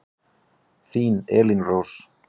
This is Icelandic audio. Þín Elín Rós.